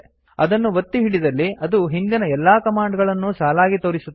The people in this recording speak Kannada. ಅದನ್ನು ಒತ್ತಿ ಹಿಡಿದಲ್ಲಿ ಅದು ಹಿಂದಿನ ಎಲ್ಲ ಕಮಾಂಡ್ ಗಳನ್ನೂ ಸಾಲಾಗಿ ತೋರಿಸುತ್ತದೆ